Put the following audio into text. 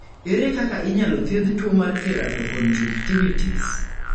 Ere kaka inyalo thiedh tuwo mar keratoconjunctivitis?